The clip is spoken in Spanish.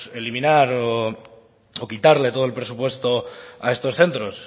eliminar o quitarle todo el presupuesto a estos centros